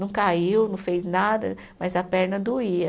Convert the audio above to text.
Não caiu, não fez nada, mas a perna doía.